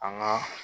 An ka